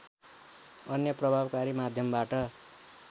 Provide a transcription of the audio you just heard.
अन्य प्रभावकारी माध्यमबाट